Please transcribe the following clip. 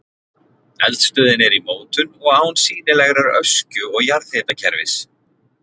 Eldstöðin er í mótun og án sýnilegrar öskju og jarðhitakerfis.